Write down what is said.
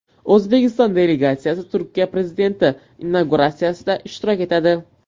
O‘zbekiston delegatsiyasi Turkiya prezidenti inauguratsiyasida ishtirok etadi.